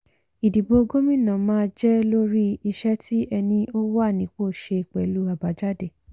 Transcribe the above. ìdìbò gómìnà máa jẹ́ lórí iṣẹ́ tí ẹni ó wà nípò ṣe pẹ̀lú àbájáde.